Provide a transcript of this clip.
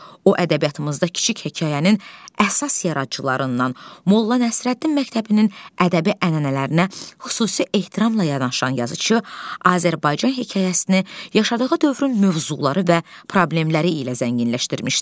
O ədəbiyyatımızda kiçik hekayənin əsas yaradıcılarından, Molla Nəsrəddin məktəbinin ədəbi ənənələrinə xüsusi ehtiramla yanaşan yazıçı Azərbaycan hekayəsini yaşadığı dövrün mövzuları və problemləri ilə zənginləşdirmişdir.